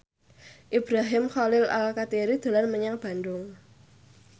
Ibrahim Khalil Alkatiri dolan menyang Bandung